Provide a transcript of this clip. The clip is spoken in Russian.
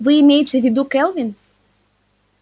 вы имеете в виду кэлвин